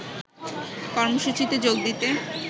কর্মসূচিতে যোগ দিতে